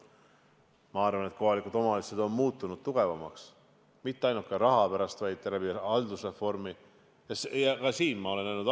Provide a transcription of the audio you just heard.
Ma arvan, et kohalikud omavalitsused on muutunud tugevamaks, mitte ainult raha pärast, vaid ka haldusreformi tõttu.